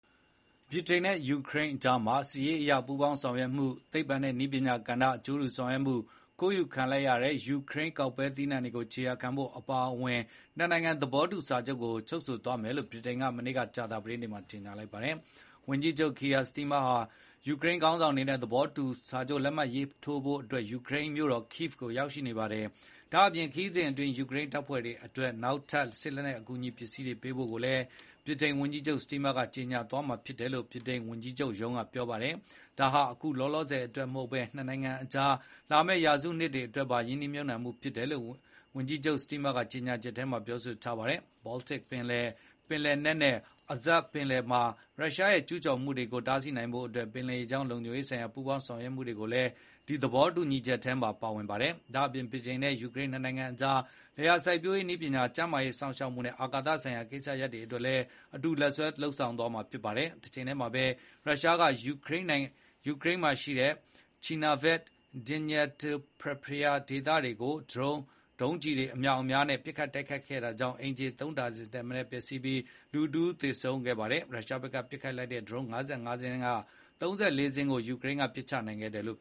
ဗြိတိန်နဲ့ယူကရိန်းနိုင်ငံကြားမှာ စစ်ရေးအရ ပူးပေါင်းဆောင်ရွက်မှု၊ သိပ္ပံနဲ့ နည်းပညာကဏ္ဍ အကျိုးတူ ဆောင်ရွက်မှုနဲ့ ခိုးယူခံလိုက်ရတဲ့ ယူကရိန်းကောက်ပဲသီးနှံတွေကိုခြေရာခံဖို့အပါအဝင် နှစ်နိုင်ငံ သဘောတူစာချုပ်တရပ် ချုပ်ဆိုသွားမယ်လို့ ဗြိတိန်က ဒီနေ့ ကြေညာလိုက်ပါတယ်။ ဗြိတိန်ဝန်ကြီးချုပ် Keir Starmer ဟာ ယူကရိန်းခေါင်းဆောင်တွေနဲ့ သဘောတူစာချုပ် လက်မှတ်ထိုးဖို့ ယူကရိန်းနိုင်ငံ ကိဗ်မြို့ကို ရောက်ရှိနေပါတယ်။ ဒါ့အပြင် ဗြိတိန်ဝန်ကြီးချုပ် Starmer ဟာ ဒီခရီးစဉ် အတွင်း ယူကရိန်းတပ်ဖွဲ့တွေအတွက် နောက်ထပ် စစ်လက်နက်အကူအညီသစ်တွေ ပေးဖို့ကိစ္စကိုလည်း ကြေညာသွားမှာဖြစ်တယ်လို့ ဗြိတိန်ဝန်ကြီးချုပ်ရုံးက ပြောပါတယ်။ ဝန်ကြီးချုပ် Starmer ကတော့ ဒါဟာ အခုလောလောဆယ်အတွက်ပဲမဟုတ်ဘဲ နှစ်နိုင်ငံကြားမှာ လာမယ့်ရာစုနှစ်အတွက်ပါ ရင်းနှီး မြှုပ်နှံမှုဖြစ်တယ်လို့ကြေညာချက်ထဲမှာ ပြောထားပါတယ်။ ဒီသဘောတူညီချက်ထဲမှာ ဘော်လ်တစ်ပင်လယ်၊ ပင်လယ်နက်နဲ့ Azov ပင်လယ်တွေမှာ ရုရှားရဲ့ ကျူးကျော်မှုတွေကို တားဆီးနိုင်ဖို့အတွက် ပင်လယ်ရေကြောင်းလုံခြုံရေးဆိုင်ရာ ပူးပေါင်း ဆောင်ရွက်မှုတွေလည်း ပါဝင်တယ်လို့ ပြောပါတယ်။ ဒါ့အပြင် ဗြိတိန်နဲ့ယူကရိန်း နှစ်နိုင်ငံကြားမှာ လယ်ယာစိုက်ပျိုးရေးနည်းပညာ၊ ကျန်းမာရေးစောင့်ရှောက်မှုနဲ့ အာကာသဆိုင်ရာကိစ္စရပ်တွေကိုလည်း အတူ လက်တွဲလုပ်ဆောင်သွားမှာဖြစ်ပါတယ်။ တချိန်တည်းမှာပဲ ရုရှားကယူကရိန်းနိုင်ငံ Chernihiv နဲ့ Dnipropetrovsk ဒေသတွေကို ဒရုန်းတွေ ဒုံးကျည်တွေအမြောက်တွေနဲ့ ပစ်ခတ်တိုက်ခိုက်တာကြောင့် အိမ်ခြေသုံးဒါဇင်ထက်မနည်း ထိခိုက် ပျက်စီးပြီး တယောက်သေဆုံး၊ တယောက်ဒဏ်ရာရသွားခဲ့ပါတယ်။ ရုရှားဘက်ကပစ်လိုက်တဲ့ ဒရုန်း ၅၅ ခုထဲက ၃၄ ခုကို ယူကရိန်းလေကြောင်းရန်ကာကွယ်ရေးက ပစ်ချနိုင်ခဲ့တယ်လို့